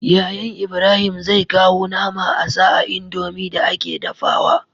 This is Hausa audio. Yayan Ibrahim zai kawo nama asa a indomie da ake dafawa